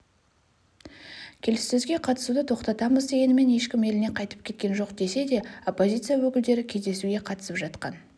келіссөзге қатысуды тоқтатамыз дегенімен ешкім еліне қайтып кеткен жоқ десе де оппозиция өкілдері кездесуге қатысып жатқан